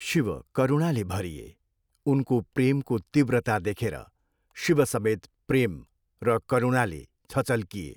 शिव करूणाले भरिए, उनको प्रेमको तीव्रता देखेर शिव समेत प्रेम र करुणाले छचल्किए।